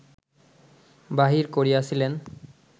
বাহির করিয়াছিলেন